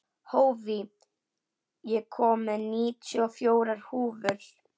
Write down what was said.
Hófí, ég kom með níutíu og fjórar húfur!